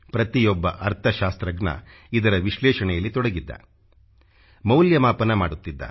ಪ್ರತಿಯೊಬ್ಬ ಅರ್ಥ ಶಾಸ್ತ್ರಜ್ಞ ಇದರ ವಿಶ್ಲೇಷಣೆಯಲ್ಲಿ ತೊಡಗಿದ್ದ ಮೌಲ್ಯಮಾಪನ ಮಾಡುತ್ತಿದ್ದ